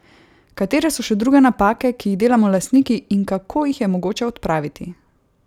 Katere so še druge napake, ki jih delamo lastniki, in kako jih je mogoče odpraviti?